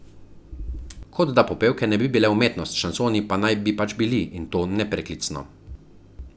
Kot da popevke ne bi bile umetnost, šansoni pa naj bi pač bili, in to nepreklicno.